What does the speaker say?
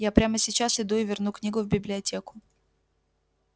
я прямо сейчас иду и верну книгу в библиотеку